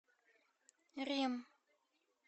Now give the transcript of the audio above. рим